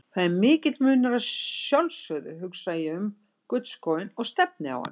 Það er mikill munur og að sjálfsögðu hugsa ég um gullskóinn og stefni á hann.